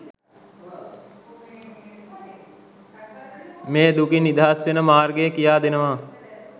මේ දුකින් නිදහස් වෙන මාර්ගය කියා දෙනවා.